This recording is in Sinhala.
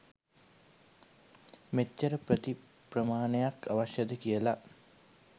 මෙච්චර පෙති ප්‍රමාණයක් අවශ්‍යද කියලා.